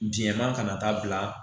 Biɲɛ ma kana taa bila